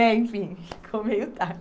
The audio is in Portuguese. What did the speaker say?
né Enfim, ficou meio